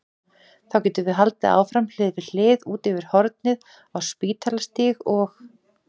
Þá getum við haldið áfram hlið við hlið út yfir hornið á Spítalastíg og